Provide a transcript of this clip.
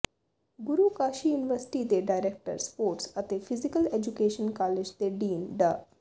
ਗੁਰੂ Kashi university ਦੇ director sports ਅਤੇ physical education college ਦੇ ਡੀਨ ਡਾ